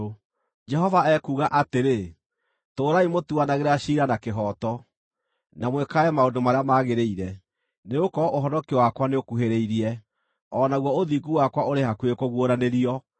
Jehova ekuuga atĩrĩ: “Tũũrai mũtuanagĩra ciira wa kĩhooto, na mwĩkage maũndũ marĩa magĩrĩire, nĩgũkorwo ũhonokio wakwa nĩũkuhĩrĩirie, o naguo ũthingu wakwa ũrĩ hakuhĩ kũguũranĩrio.